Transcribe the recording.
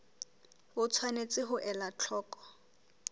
o tshwanetse ho ela hloko